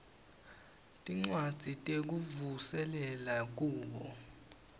tincwadzi tekuvuselela kubo